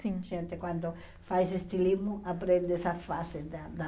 Sim. Gente, quando faz estilismo, aprende essa fase da da